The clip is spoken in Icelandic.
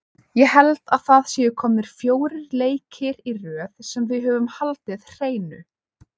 Ég held að það séu komnir fjórir leikir í röð sem við höfum haldið hreinu.